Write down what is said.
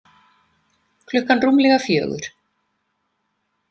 Klukkan rúmlega fjögur.